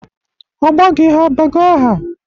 Ọgbọ gị ha abago aha?